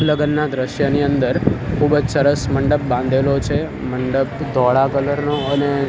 લગનના દ્રશ્યની અંદર ખુબજ સરસ મંડપ બાંધેલો છે મંડપ ધોળા કલર નો અને --